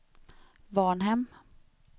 Varnhem